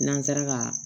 N'an sera ka